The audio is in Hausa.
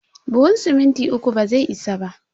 Buhun siminti uku bazai isa ba.